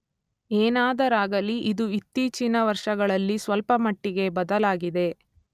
ಏನಾದರಾಗಲಿ ಇದು ಇತ್ತೀಚಿನ ವರ್ಷಗಳಲ್ಲಿ ಸ್ವಲ್ಪಮಟ್ಟಿಗೆ ಬದಲಾಗಿದೆ.